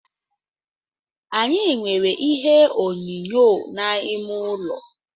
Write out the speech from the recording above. Anyị nwere ihe onyonyo n’ime ụlọ